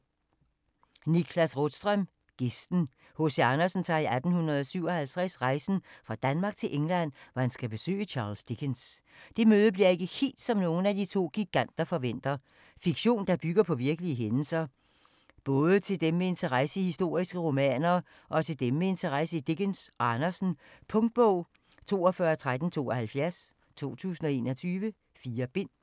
Rådström, Niklas: Gæsten H.C. Andersen tager i 1857 rejsen fra Danmark til England, hvor han skal besøge Charles Dickens. Det møde bliver ikke helt, som nogen af to giganter forventer. Fiktion, der bygger på virkelige hændelser. Både til dem med interesse i historiske romaner og til dem med interesse i Dickens og Andersen. Punktbog 421372 2021. 4 bind.